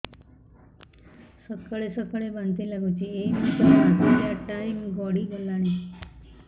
ସକାଳେ ସକାଳେ ବାନ୍ତି ଲାଗୁଚି ଏଇ ମାସ ର ମାସିକିଆ ଟାଇମ ଗଡ଼ି ଗଲାଣି